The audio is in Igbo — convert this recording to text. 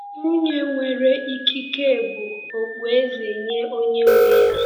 “Nwunye nwere ikike bụ okpueze nye onye nwe ya”